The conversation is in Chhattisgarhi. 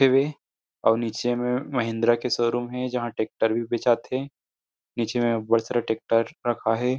टी_वी और नीचे में महिंद्रा के शोरूम हे जहाँ ट्रेक्टर भी बेचा थे नीचे में बहुत सारा ट्रेक्टर रखाये हे।